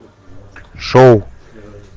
шоу